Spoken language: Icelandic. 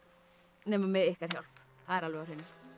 nema með ykkar hjálp það er alveg á hreinu